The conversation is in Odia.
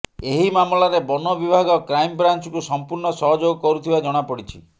ଏହି ମାମଲାରେ ବନ ବିଭାଗ କ୍ରାଇମ୍ବ୍ରାଞ୍ଚକୁ ସମ୍ପୂର୍ଣ୍ଣ ସହଯୋଗ କରୁଥିବା ଜଣାପଡ଼ିଛି